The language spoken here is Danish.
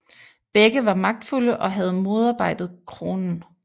Begge var magtfulde og havde modarbejdet kronen